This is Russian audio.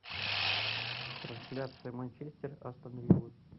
трансляция манчестер астон вилла